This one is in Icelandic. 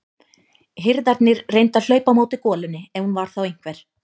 Hirðarnir reyndu að hlaupa á móti golunni ef hún var þá einhver.